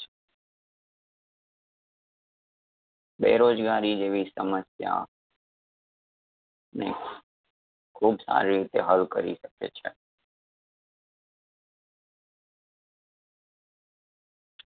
બેરોજગારી જેવી સમસ્યા ને ખૂબ સારી રીતે હલ કરી શકે છે.